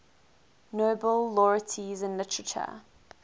nobel laureates in literature